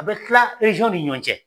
A bɛ tila ni ɲɔɔn cɛ.